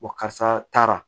Wa karisa taara